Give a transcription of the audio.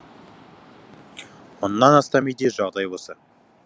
мыңнан астам үйде жағдай осы